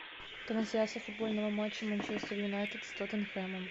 трансляция футбольного матча манчестер юнайтед с тоттенхэмом